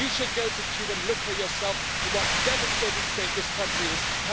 You should go to Cuba and look for yourself at what a devastating state this country is in.